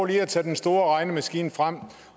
lige at tage den store regnemaskine frem